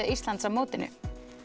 Íslands á mótinu